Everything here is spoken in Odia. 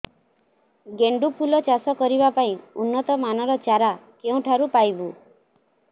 ଗେଣ୍ଡୁ ଫୁଲ ଚାଷ କରିବା ପାଇଁ ଉନ୍ନତ ମାନର ଚାରା କେଉଁଠାରୁ ପାଇବୁ